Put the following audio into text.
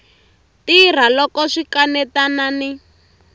tirha loko swi kanetana ni